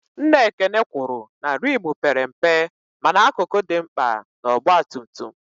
Nna Ekene kwụrụ na rimu père mpe mana akụkụ dị mkpa na ọgba tum tum